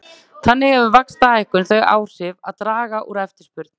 Þannig hefur vaxtahækkun þau áhrif að draga úr eftirspurn.